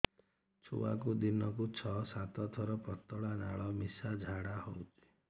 ଛୁଆକୁ ଦିନକୁ ଛଅ ସାତ ଥର ପତଳା ନାଳ ମିଶା ଝାଡ଼ା ହଉଚି